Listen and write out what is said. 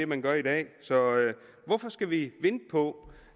man gør i dag hvorfor skal vi vente på